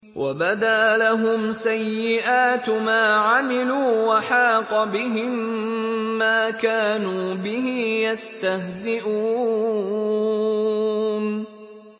وَبَدَا لَهُمْ سَيِّئَاتُ مَا عَمِلُوا وَحَاقَ بِهِم مَّا كَانُوا بِهِ يَسْتَهْزِئُونَ